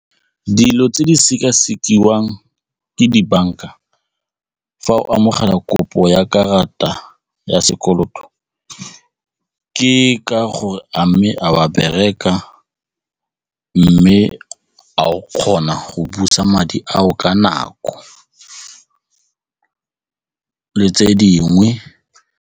Dilo tse di sekasekiwang ke dibanka fa o amogela kopo ya karata ya sekoloto ke ka gore a mme a o a bereka mme a o kgona go busa madi ao ka nako le tse dingwe.